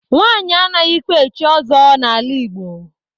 Nwanyị anaghịkwa echi ọzọ n'ala Igbo.